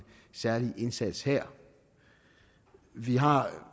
særlig indsats her vi har